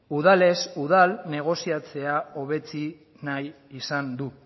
udalez udal negoziatzea hobetsi nahi izan du